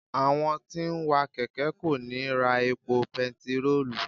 Àwọn tí ń wa kẹ̀kẹ́ kò ní ra epo bẹntiróò.